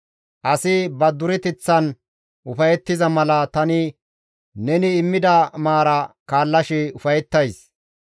Asi ba dureteththan ufayettiza mala tani neni immida maara kaallashe ufayettays.